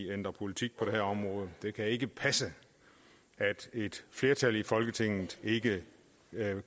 ændrer politik på det her område det kan ikke passe at et flertal i folketinget ikke